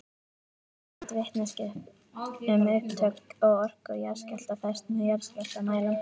Ýtarleg vitneskja um upptök og orku jarðskjálfta fæst með jarðskjálftamælum.